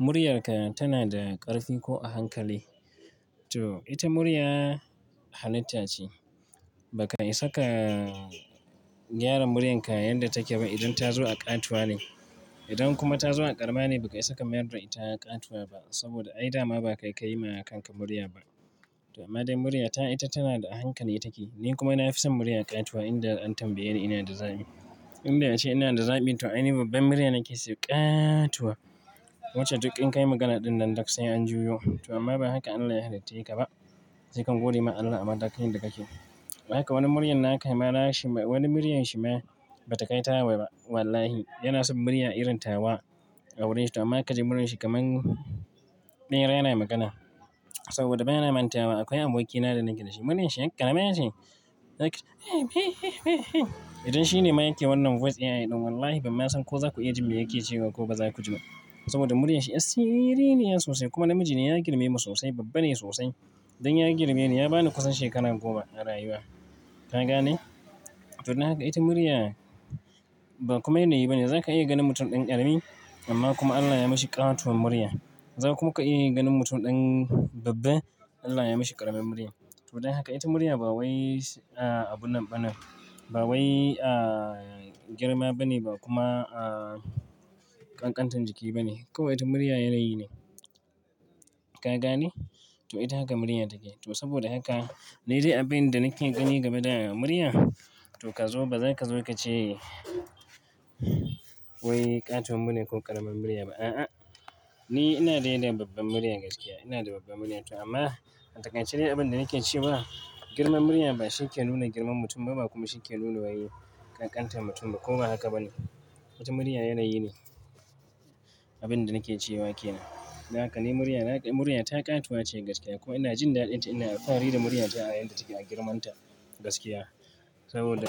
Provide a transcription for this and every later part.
Muryarka tana da ƙarfi ko a hankali. To ita murya halitta ce. Ba ka isa ka gyara muryarka yadda take ba idan ta zo a ƙatuwa ne. Idan kuma ta zo a ƙarama ne, ba ka isa ka mayar da ita ƙatuwa ba saboda ai dama ba ka yi ƙayima a kanka murya ba. To amma dai, muryata ita tana da a hankali take. Ni kuma na fi son murya ƙatuwa idan an tambaye ni ina da zabi. Inda ake ina da zabi to aini babban murya nake so, ƙaaatuwa. Wacce duk in kai magana ɗin nan duk sai an jiyo. To amma ba haka Allah ya halicce ka ba. Se ka gode ma Allah a matakin da kake. Bayan haka wani muryar na kai ma na shi ma wani muryar shi ma ba ta kai tawa ba. Wallahi, yana son murya irin tawa a wurin shi to amma sai ka ji muryar shi kamar ɓera yana magana. Saboda bana mantawa akwai aboki na da nake da shi. Muryar shi yar karama ce? Idan shi ne mayaki wannan voice AI ɗin wallahi bai san ko za ku ji me yake cewa ko ba za ku ji ba. Saboda muryar shi yar siriri ne sosai kuma namiji ne ya girme mu sosai, babban ne sosai. Dan ya girme ni ya bani kusan shekaru goma a rayuwa. Ka gane? To don haka ita murya ba kuma yanayi ba ne. Zaka iya ganin mutum ɗan ƙarami amma kuma Allah ya yi mashi ƙatuwar murya. Za kuma ka iya ganin mutum ɗan babba Allah ya yi mashi ƙaramin murya. To don haka ita murya ba wai abunnan bane ba wai girma ba ne ba kuma ƙanƙantar jiki ba ne. Kawai ita murya yanayi ne. Ka gane? To ita haka murya take. To saboda haka ni dai abin da nake gani game da murya to ka zo bazaka zo ka ce wai ƙatuwar murya ko ƙaramin murya ba. A'a, ni ina da yanayin babban murya gaskiya. Ina da babban murya to amma a takaice dai shine abin da nake cewa girman murya ba shi ke nuna girman mutum ba, ba kuma shi ke nuna wai ƙanƙantar mutum ba. Ko ba haka ba ne. Ita murya yanayi ne. Abin da nake cewa kenan. Don haka ni murya, murya ta ƙatuwa ce gaskiya kuma ina jin dadin ta. Ina alfahari da muryata a yadda take a girmanta gaskiya. Saboda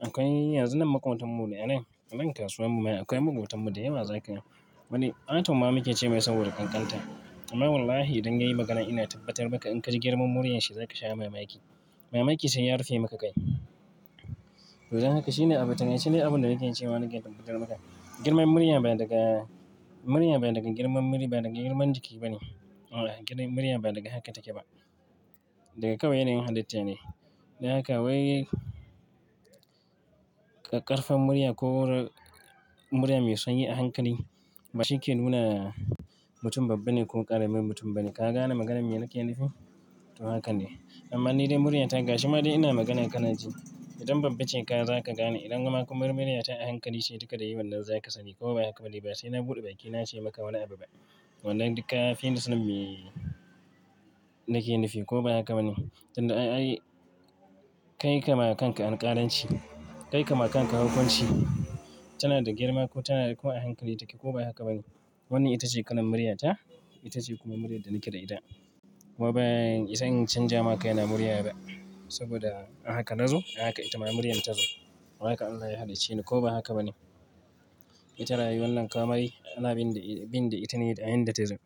akwai yanzu nan makotanmu ne a nan. Nan kasuwan mu akwai makotan mu da yawa zaka. Wani atom ma muke ce mai saboda ƙanƙanta. Amma wallahi idan ya yi magana ina tabbatar maka in ka ji girman muryar shi zaka sha mamaki. Mamaki sai ya rufe maka kai. To don haka shine abin, shine abin da nake cewa nake tabbatar maka. Girman murya ba daga, murya ba daga girman muri ba daga girman jiki ba ne. Allah girman murya ba daga haka take ba. Daga kawai yanayin halitta ne. Don haka wai kakƙarfan murya ko murya mai sanyi a hankali ba shi ke nuna mutum babba ne ko ƙaramin mutum ba ne. Ka gane maganar me nake nufi? To haka ne. Amma ni dai muryata gashi ma dai ina magana kanaji. Idan babba ce ka zaka gane. Idan kuma muryar ta a hankali ce duka da yiwu nan zaka sani ko ba haka ba ne. Ba sai na buɗe bakina nace maka wani abu ba. Wannan duk ka fini sanin me nake nufi ko ba haka ba ne. Tun da ai kai ka ma kanka anƙaranci. Kai ka ma kanka hukunci. Tana da girma ko tana da ko a hankali take ko ba haka ba ne. Wannan ita ce kalan muryata. Ita ce kuma muryar da nake da ita. Kuma ban isa in canja ma kaina murya ba. Saboda ahaka nazo ahaka ita ma muryan ta zo. Ahaka Allah ya halicce ni ko ba haka ba ne. Ita rayuwan nan kama yi, ana bin da, bin da ita ne da inda ta zo.